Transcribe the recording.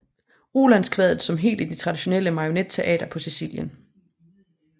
Rolandskvadet som helt i det traditionelle marionetteater på Sicilien